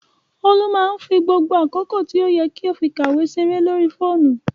Olú máá ń fi gbogbo àkókò tí ó yẹ kó fi kàwé ṣeré lórí fóònù